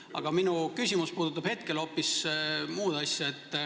Aga minu küsimus puudutab hetkel hoopis muud.